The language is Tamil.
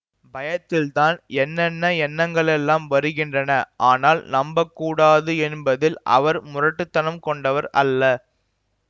பயத்தில்தான் என்னென்ன எண்ணங்களெல்லாம் வருகின்றன ஆனால் நம்பக் கூடாது என்பதில் அவர் முரட்டுத் தனம் கொண்டவர் அல்ல